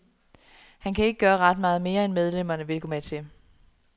Han kan ikke gøre ret meget mere, end medlemmerne vil gå med til.